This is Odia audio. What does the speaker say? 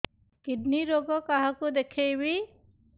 କିଡ଼ନୀ ରୋଗ କାହାକୁ ଦେଖେଇବି